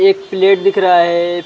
एक प्लेट दिख रहा है।